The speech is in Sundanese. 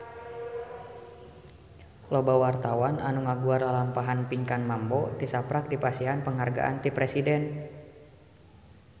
Loba wartawan anu ngaguar lalampahan Pinkan Mambo tisaprak dipasihan panghargaan ti Presiden